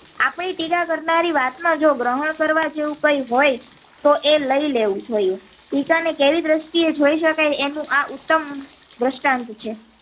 આપણી ટીકા કરનારી વાત માં જો ગ્રહણ કરવા જેવું કઈ હોય તો એ લઇ લેવું જોઈએ ટીકા ને કેવી દ્રષ્ટિ એ જોય શકાય તેનું આ ઉત્તમ દ્રસ્ટાન્ટ છે.